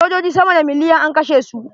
Sojoji sama da miliyan an kashe su.